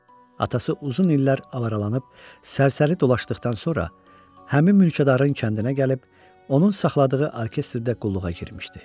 Atası uzun illər avaralanıb sərsəri dolaşdıqdan sonra həmin mülkədarın kəndinə gəlib onun saxladığı orkestrdə qulluğa girmişdi.